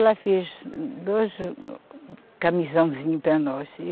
Ela fez dois camisãozinhos para nós.